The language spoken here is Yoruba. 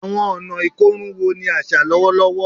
Awọn ọna ikorun wo ni aṣa lọwọlọwọ?